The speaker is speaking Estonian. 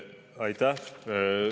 Aitäh!